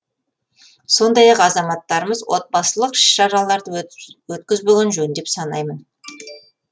сондай ақ азаматтарымыз отбасылық іс шараларды өткізбеген жөн деп санаймын